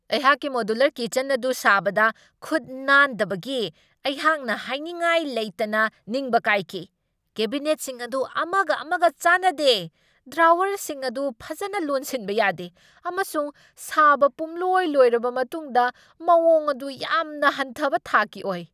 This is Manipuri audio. ꯑꯩꯍꯥꯛꯀꯤ ꯃꯣꯗ꯭ꯌꯨꯂꯔ ꯀꯤꯆꯟ ꯑꯗꯨ ꯁꯥꯕꯗ ꯈꯨꯠ ꯅꯥꯟꯗꯕꯒꯤ ꯑꯩꯍꯥꯛꯅ ꯍꯥꯏꯅꯤꯡꯉꯥꯏ ꯂꯩꯇꯅ ꯅꯤꯡꯕ ꯀꯥꯏꯈꯤ ꯫ ꯀꯦꯕꯤꯅꯦꯠꯁꯤꯡ ꯑꯗꯨ ꯑꯃꯒ ꯑꯃꯒ ꯆꯥꯟꯅꯗꯦ, ꯗ꯭ꯔꯣꯋꯔꯁꯤꯡ ꯑꯗꯨ ꯐꯖꯅ ꯂꯣꯟꯁꯤꯟꯕ ꯌꯥꯗꯦ, ꯑꯃꯁꯨꯡ ꯁꯥꯕ ꯄꯨꯝꯂꯣꯏ ꯂꯣꯏꯔꯕ ꯃꯇꯨꯡꯗ ꯃꯋꯣꯡ ꯑꯗꯨ ꯌꯥꯝꯅ ꯍꯟꯊꯕ ꯊꯥꯛꯀꯤ ꯑꯣꯏ ꯫